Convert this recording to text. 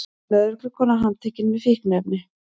Lögreglukona handtekin með fíkniefni